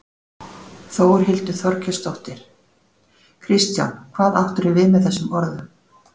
Þórhildur Þorkelsdóttir: Kristján hvað áttirðu við með þessum orðum?